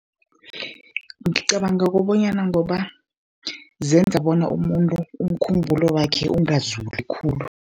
Ngicabanga kobonyana, ngoba zenza bona umuntu umkhumbulo wakhe ungazuli khulu.